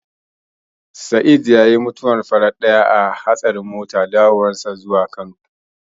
Sa'eed yayi mutuwar farar ɗaya a hatsarin mota a hanyar dawowarsa zuwa Kano.